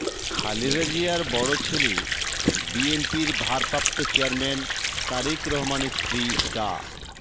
খালেদা জিয়ার বড় ছেলে বিএনপির ভারপ্রাপ্ত চেয়ারম্যান তারেক রহমানের স্ত্রী ডা